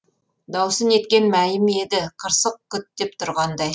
дауысы неткен мәйім еді қырсық күт деп тұрғандай